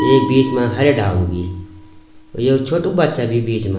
यै बीच मा हरयाँ डालू भी एक छोटु बच्चा भी बीच मा।